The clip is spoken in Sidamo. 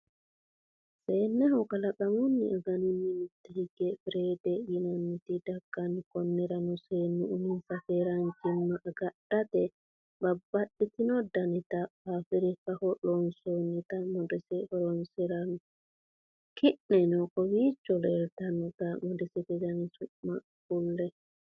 Seenneho kalaqamunni aganunni mitte higge firede yinannit dagganno. konnirano seennu uminsa keeranchima agadhate babaxitinno danita fafirikaho loonsonnita modese horonsiranno. ki'neno kowicho leeltanota modesete dani su'ma kuli?